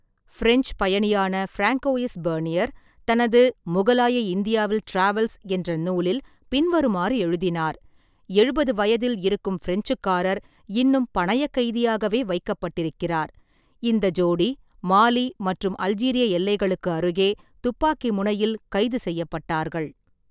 French பயணியான Francois Bernier தனது முகலாய இந்தியாவில் டிராவல்ஸ் என்ற நூலில் பின்வருமாறு எழுதினார்: எழுபதுவயதில் இருக்கும் பிரெஞ்சுக்காரர் இன்னும் பணயக் கைதியாகவே வைக்கப்பட்டிருக்கிறார்; இந்த ஜோடி மாலி மற்றும் அல்ஜீரிய எல்லைகளுக்கு அருகே துப்பாக்கி முனையில் கைது செய்யப்பட்டார்கள்.